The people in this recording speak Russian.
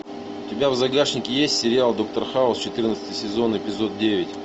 у тебя в загашнике есть сериал доктор хаус четырнадцатый сезон эпизод девять